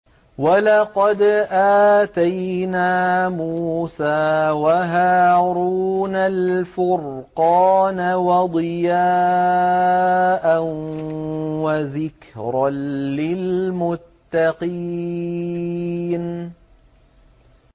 وَلَقَدْ آتَيْنَا مُوسَىٰ وَهَارُونَ الْفُرْقَانَ وَضِيَاءً وَذِكْرًا لِّلْمُتَّقِينَ